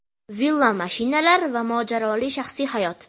Villa, mashinalar va mojaroli shaxsiy hayot.